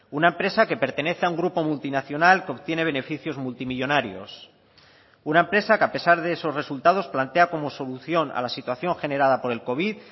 una empresa que pertenece a un grupo multinacional que obtiene beneficios multimillónarios una empresa que a pesar de esos resultados plantea como solución a la situación generada por el covid